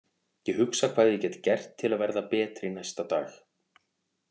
Ég hugsa hvað ég get gert til að verða betri næsta dag.